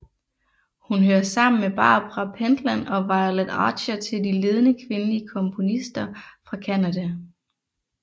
Hun hører sammen med Barbara Pentland og Violet Archer til de ledende kvindelige komponister fra Canada